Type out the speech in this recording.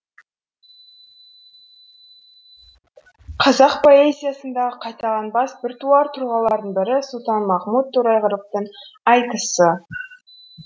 қазақ поэзиясындағы қайталанбас біртуар тұлғалардың бірі сұлтанмахмұт торайғыровтың айтыс